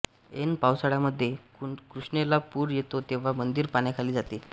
ऐन पावसाळ्यामध्ये कृष्णेला पूर येतो तेव्हा मंदिर पाण्याखाली जाते